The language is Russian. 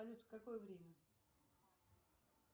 салют в какое время